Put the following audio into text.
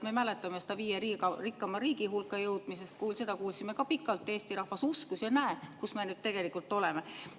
Me mäletame seda juttu viie rikkama riigi hulka jõudmisest, seda kuulsime ka pikalt, Eesti rahvas uskus ja näe, kus me nüüd tegelikult oleme.